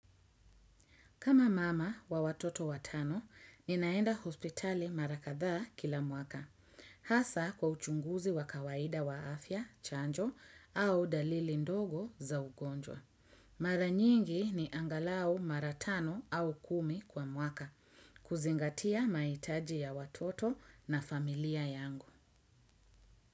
Kama mama wa watoto watano, ninaenda hospitali mara kadhaa kila mwaka. Hasa kwa uchunguzi wa kawaida wa afya, chanjo, au dalili ndogo za ugonjwa. Mara nyingi ni angalau mara tano au kumi kwa mwaka, kuzingatia mahitaji ya watoto na familia yangu.